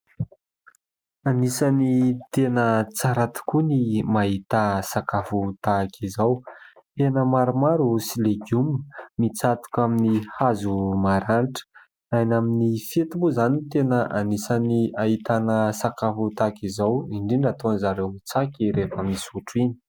Anisany tena tsara tokoa ny mahita sakafo tahaka izao. Hena maromaro sy legioma mitsatoka amin'ny hazo maranitra. Any amin'ny fety moa izany no tena anisany ahitana sakafo tahaka izao indrindra ataon'izareo tsaky rehefa misotro iny.